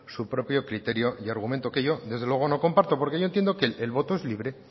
su propio criterio de argumento que yo desde luego no comparto porque yo entiendo que el voto es libre